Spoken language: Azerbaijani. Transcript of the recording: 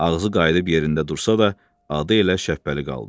Ağzı qayıdıb yerində dursa da, adı elə Şəbbəli qaldı.